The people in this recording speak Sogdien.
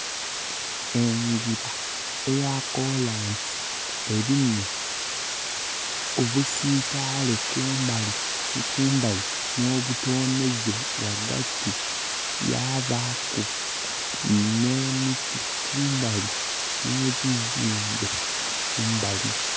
Engira eya kolansi elimu obusitaale kumbali ni kumbali, n'obutonheze ghagati, yabaaku n'emiti kumbali, n'ebizimbe kumbali.